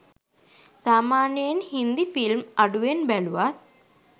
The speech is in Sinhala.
සාමාන්‍යයෙන් හින්දි ෆිල්ම් අඩුවෙන් බැලුවත්